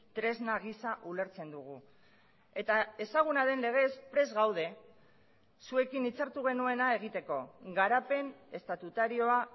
tresna gisa ulertzen dugu eta ezaguna den legez prest gaude zuekin hitzartu genuena egiteko garapen estatutarioa